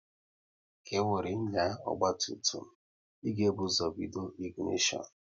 Ka wéré nya ọgba tum tum, ị ga-ebu ụzọ bido ịginishon